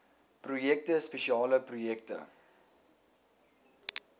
projekte spesiale projekte